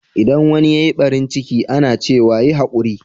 Idan wanni ya yi ɓarin ciki, ana cewa,"Yi haƙuri."